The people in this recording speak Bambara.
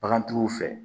Bagantigiw fɛ